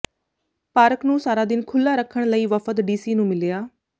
park ਨੂੰ ਸਾਰਾ ਦਿਨ ਖੁੱਲ੍ਹਾ ਰੱਖਣ ਲਈ ਵਫ਼ਦ ਡੀਸੀ ਨੂੰ ਮਿਲਿਆ